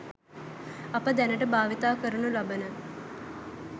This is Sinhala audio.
අප දැනට භාවිත කරනු ලබන